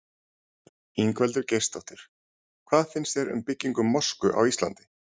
Ingveldur Geirsdóttir: Hvað finnst þér um byggingu mosku á Íslandi?